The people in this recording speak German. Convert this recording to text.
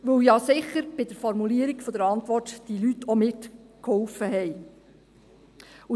Dies, weil sie sicher bei der Formulierung der Antwort mitgeholfen haben.